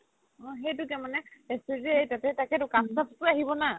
অ সেইটোকে মানে তাতেইটো ‌‌ আহিব না